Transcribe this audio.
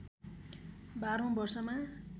१२ औं वर्षमा